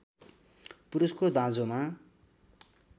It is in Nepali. पुरुषको दाँजोमा